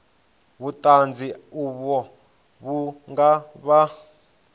vhuṱanzi uvho vhu nga vha